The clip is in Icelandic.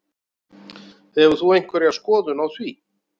Hefur þú einhverja skoðun á því?